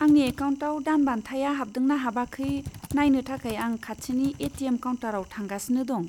आंनि एकाउन्टाव दानबान्थाया हाबदोंना हाबाखै नायनो थाखाय आं खाथिनि ए.टि.एम. काउन्टाराव थांगासिनो दं।